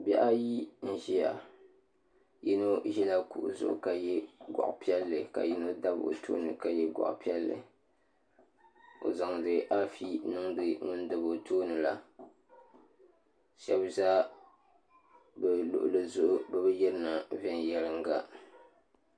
Bihi ayi n ʒiya yino ʒila kuɣu zuɣu ka yɛ goɣa piɛlli ka yino dabi o tooni ka yɛ goɣa piɛlli o zaŋdi afi niŋdi ŋun dabi o tooni la shab ʒɛ bi luɣuli zuɣu bi bi yirina viɛnyɛlinga